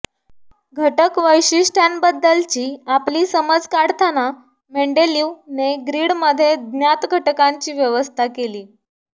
घटक वैशिष्ट्यांबद्दलची आपली समज काढताना मेंडलीव ने ग्रिड मध्ये ज्ञात घटकांची व्यवस्था केली